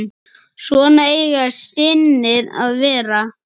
Svona eiga synir að vera.